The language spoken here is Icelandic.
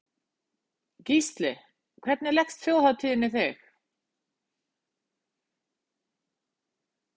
Gísli: Hvernig leggst þjóðhátíðin í þig?